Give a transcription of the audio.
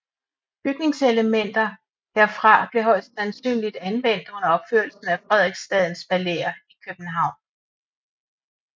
Bygningselementer herfra blev højst sandsynligt anvendt under opførelsen af Frederiksstadens palæer i København